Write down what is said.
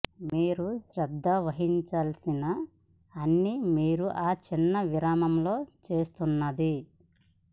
మీరు శ్రద్ధ వహించాల్సిన అన్ని మీరు ఆ చిన్న విరామంలో చేస్తున్నది